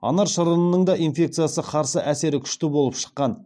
анар шырынының да инфекциясы қарсы әсері күшті болып шыққан